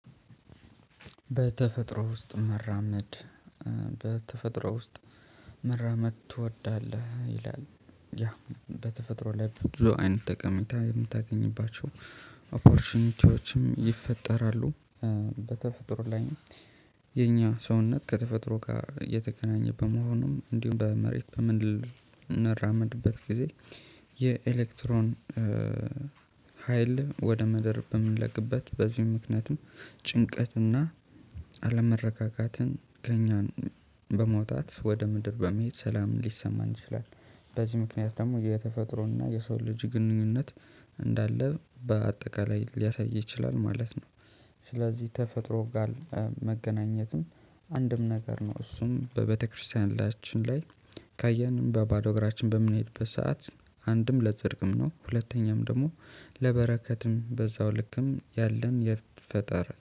በተፈጥሮ ውስጥ መራመድ በተፈጥሮ ውስጥ መራመድ ትወዳለህ ይላል? ያ በተፈጥሮ ላይ ብዙ አይነት ጠቀሚታ የምታገኝባቸው ኦፖርቹኒቲዎችም ይፈጠራሉ። በተፈጥሮ ላይም የኛ ሰውነት ከተፈጥሮ ጋር የተከናኘበት መሆኑም እንዲሁም በመሬት በምን እንራመድበት ጊዜ የኤሌክትሮን ሀይል ወደ መደር በምንለግበት በዚህም ምክንያቱም ጭንቀትና አለመረጋጋትን ከእኛን በመውጣት ወደ ምድር በመሄድ ሰላም ሊሰማን ይችላል። በዚህ ምክንያት ደግሞ የተፈጥሮና የሰው ልጅ ግንኙነት እንዳለ በአጠቃላይ ሊያሳይ ይችላል ማለት ነው። ስለዚህ ተፈጥሮ ጋር መገናኘትም አንድም ነገር ነው እሱም በቤተ ክርስቲያናችን ላይ ካየን በባዶ እግራችን በምንሄድበት ሰዓት አንድም ለጸድቅም ነው። ሁለተኛም ደግሞ ለበረከትም በዛው ልክም ያለን የፈጠሪ